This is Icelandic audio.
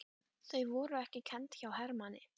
Þau voru ekki kennd hjá Hermanni.